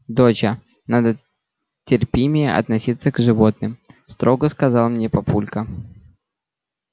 доча надо терпимее относиться к животным строго сказал мне папулька